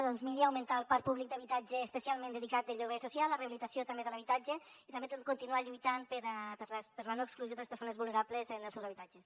doncs miri augmentar el parc públic d’habitatge especialment dedicat a lloguer social a rehabilitació també de l’habitatge i també continuar lluitant per la no exclusió de les persones vulnerables en els seus habitatges